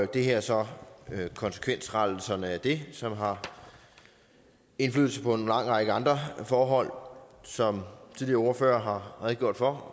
det her er så konsekvensrettelserne af det som har indflydelse på en lang række andre forhold som tidligere ordførere har redegjort for